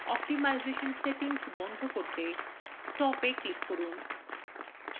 optimisation settings বন্ধ করতে stop এ click করুন